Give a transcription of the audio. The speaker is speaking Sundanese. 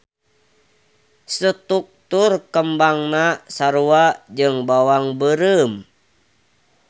Struktur kembangna sarua jeung bawang beureum.